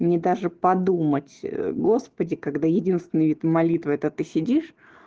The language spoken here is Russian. мне даже подумать господи когда единственную эту молитву это ты сидишь